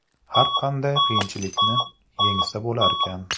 Har qanday qiyinchilikni yengsa bo‘larkan.